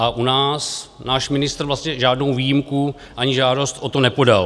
A u nás náš ministr vlastně žádnou výjimku ani žádost o to nepodal.